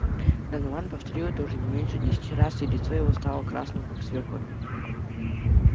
донован повторил это уже не меньше десяти раз и лицо его стало красным как свёкла